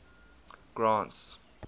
grant's